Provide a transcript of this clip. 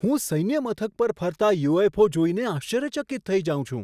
હું સૈન્ય મથક પર ફરતા યુ.એફ.ઓ. જોઈને આશ્ચર્યચકિત થઈ જાઉં છું.